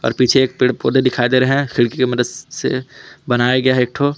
और पीछे एक पेड़ पौधे दिखाई दे रहे हैं खिड़की की मदद से बनाया गया है एक ठो।